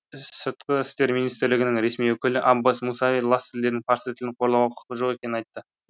сыртқы істер министрлігінің ресми өкілі аббас мусави лас тілдердің парсы тілін қорлауға құқығы жоқ екенін айтты